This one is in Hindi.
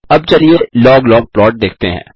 अब चलिए लॉग लॉग प्लॉट देखते हैं